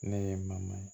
Ne ye ma